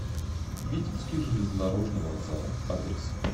витебский железнодорожный вокзал адрес